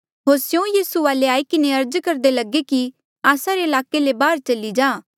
होर स्यों यीसू वाले आई किन्हें अर्ज करदे लगे कि आस्सा रे ईलाके ले बाहर चली जा